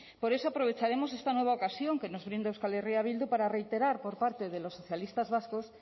por eso aprovecharemos esta nueva ocasión que nos brinda euskal herria bildu para reiterar por parte de los socialistas vascos